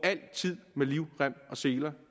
med livrem og seler